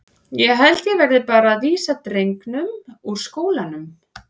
Ég held að ég verði bara að vísa drengnum úr skólanum.